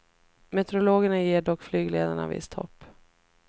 Metereologerna ger dock flygledarna visst hopp.